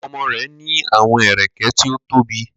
Ọmọ rẹ ni awọn ẹrẹkẹ ti o tobi